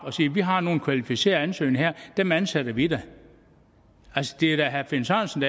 og siger vi har nogle kvalificerede ansøgere her og dem ansætter vi da altså det er da herre finn sørensen